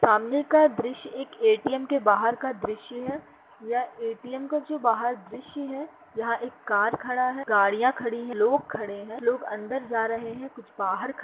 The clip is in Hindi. सामने का दृश्य एक ए.टी.एम. के बाहर का दृश्य है। यह ए.टी.एम. का जो बाहर दृश्य है। यहा एक कार खड़ा है। गड़िया खड़ी है। लोग खड़े है। लोग अंदर जा रहे है। कुछ बाहर --